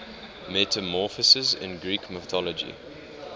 metamorphoses in greek mythology